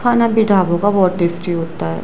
खाना भी ढाबों का बहुत टेस्टी होता है।